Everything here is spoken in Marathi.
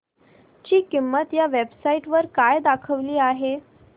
ची किंमत या वेब साइट वर काय दाखवली आहे